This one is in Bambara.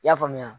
I y'a faamuya